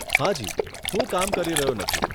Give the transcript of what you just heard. હાજી, હું કામ કરી રહ્યો નથી.